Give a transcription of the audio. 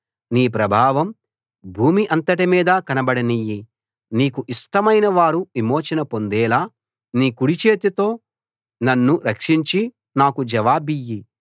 నీ ప్రభావం భూమి అంతటిమీదా కనబడనియ్యి నీకు ఇష్టమైన వారు విమోచన పొందేలా నీ కుడిచేతితో నన్ను రక్షించి నాకు జవాబియ్యి